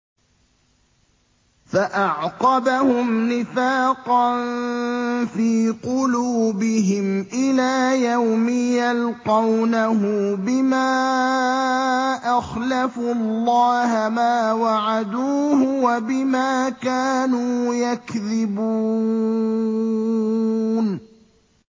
فَأَعْقَبَهُمْ نِفَاقًا فِي قُلُوبِهِمْ إِلَىٰ يَوْمِ يَلْقَوْنَهُ بِمَا أَخْلَفُوا اللَّهَ مَا وَعَدُوهُ وَبِمَا كَانُوا يَكْذِبُونَ